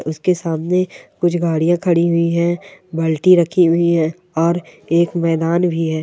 उसके सामने कुछ गाड़ियाँ खड़ी हुई है बाल्टी रखी हुई है और एक मैदान भी है।